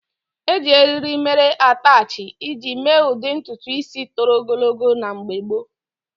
Eji eriri mere atachi iji mee ụdị ntutu ísí toro ogologo na mgbe gboo.